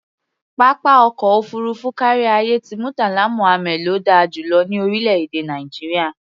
Pápá ọkọ̀ òfuurufú káríayé ti Murtala Muhammad ló da jù lọ ní orílẹ̀-èdè Nàìjíríà.